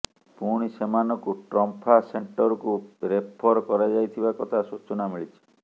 ପୁଣି ସେମାନଙ୍କୁ ଟ୍ରମ୍ପା ସେଣ୍ଟରକୁ ରେଫର କରାଯାଇଥିବା କଥା ସୂଚନା ମିଳିଛି